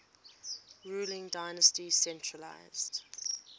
ruling dynasty centralised